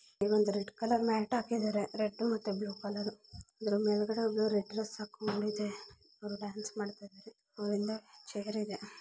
ಇಲ್ಲೊಂದು red colour mat ಹಾಕಿದರೆ red ಮತ್ತೆ ಬ್ಲೂ ಕಲರ್ . ಹುಡುಗಿ ರೆಡ್ ಡ್ರೆಸ್ ಹಾಕೊಂಡಿದೆ ಡಾನ್ಸ್ ಮಾಡ್ತಾ ಚೇರ್ ಇದೆ.